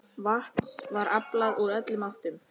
Vatns var aflað úr öllum áttum.